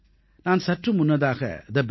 நான் சற்று முன்னதாக thebetterindia